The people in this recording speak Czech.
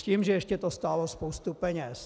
S tím, že ještě to stálo spoustu peněz.